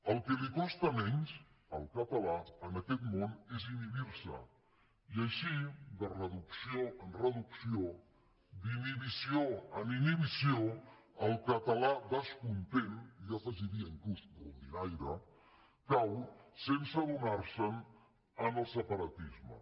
el que costa menys al català en aquest món és inhibir se i així de reducció en reducció d’inhibició en inhibició el català descontent jo hi afegiria inclús rondinaire cau sense adonar se’n en el separatisme